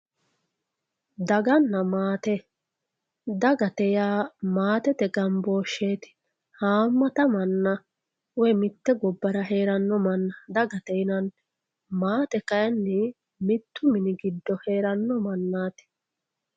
daganna maate dagate yaa maatete gambooshsheeti haammata manna woyi mitte gobbara heeranno manna dagate yinanni maate kayiinni mittu mini giddo heeranno mannaati.